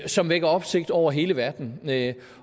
som vækker opsigt over hele verden